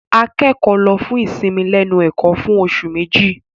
Akẹ́kọ̀ọ́ lọ fún ìsinmi lẹ́nu ẹ̀kọ́ fún oṣù Méjì.